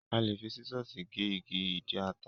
A lè fi sísọ̀sì gé igi ìdí ata.